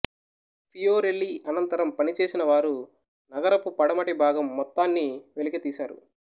Fiorelli అనంతరం పనిచేసినవారు నగరపు పడమటి భాగం మొత్తాన్నీ వెలికితీసారు